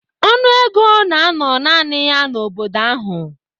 Ọnụ ego na-anọ naanị ya n'obodo ahụ.